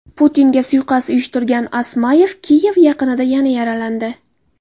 Putinga suiqasd uyushtirgan Osmayev Kiyev yaqinida yana yaralandi.